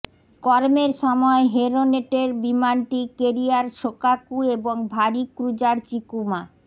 কর্মের সময় হেরনেটের বিমানটি ক্যারিয়ার শোকাকু এবং ভারী ক্রুজার চিকুমা